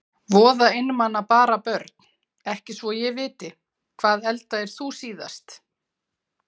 Voða einmana bara Börn: Ekki svo ég viti Hvað eldaðir þú síðast?